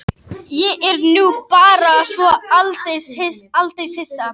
Ég er nú bara svo aldeilis hissa